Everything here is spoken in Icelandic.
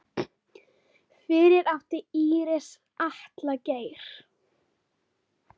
Fyrir átti Íris Atla Geir.